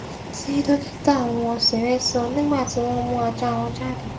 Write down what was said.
tí dókítà ohun ọsin rẹ so nigba ti won mu ajaa won jade